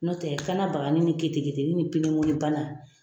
N'o tɛ kana bagani ni kete keteni ni pinemole bana.